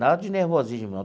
Nada de nervosismo não.